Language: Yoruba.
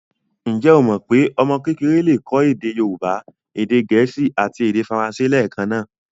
Ǹjẹ́ o mọ pé ọmọ kékeré le kọ́ èdè Yorùbá, èdè gẹ̀ẹ́sì àti èdè faransé lẹẹkan?